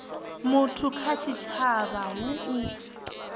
muthu kha tshitshavha hu u